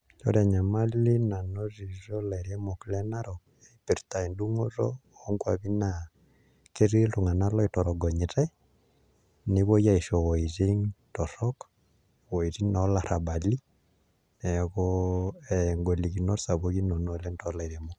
Ore enyamali nanotito ilairemok le Narok, ipirta edung'oto onkwapi naa, ketii iltung'anak loitorogonyitai, nepoi aisho woiting' torrok, woiting' olarrabali, neeku golikinot sapukin nena oleng tolairemok.